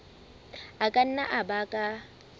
a ka nna a baka